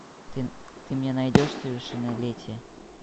ты мне найдешь совершеннолетие